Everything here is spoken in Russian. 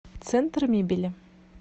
центр мебели